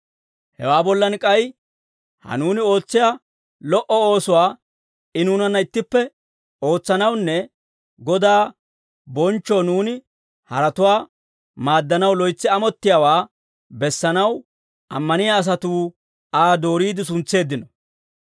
Hewaa bollan k'ay, ha nuuni ootsiyaa lo"o oosuwaa I nuunanna ittippe ootsanawunne Godaa bonchchoo nuuni haratuwaa maaddanaw loytsi amottiyaawaa bessanaw ammaniyaa asatuu Aa dooriide suntseeddino.